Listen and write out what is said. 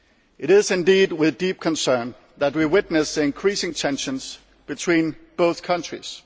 It is indeed with deep concern that we witness increasing tensions between these two countries.